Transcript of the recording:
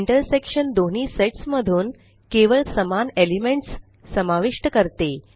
intersection दोन्ही sets मधून केवळ समान एलेमनट्स समाविष्ट करते